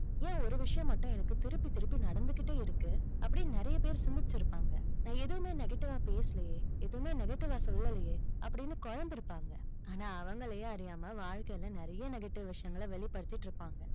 ஏன் ஒரு விஷயம் மட்டும் எனக்கு திருப்பி திருப்பி நடந்துக்கிட்டே இருக்கு? அப்படின்னு நிறைய பேரு சிந்திச்சு இருப்பாங்க. நான் எதுவுமே negative வா பேசலையே. எதுவும் negative வா சொல்லலையே. அப்படின்னு குழம்பி இருப்பாங்க. ஆனா அவங்களையே அறியாம, வாழ்க்கையில நிறைய negative விஷயங்களை வெளிப்படுத்திட்டிருப்பாங்க.